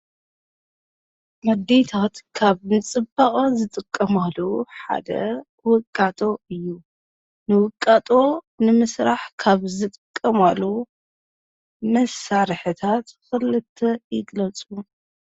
ኣዴታት ካብ ንፅባቐአን ዝጥቀማሉ ሓደ ውቃጦ እዩ፡፡ ንውቃጦ ንምስራሕ ካብ ዝጥቀማሉ መሳርሕታት ክልተ ይግለፁ፡፡